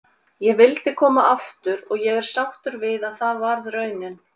Ég vildi koma aftur og ég er sáttur að það varð raunin.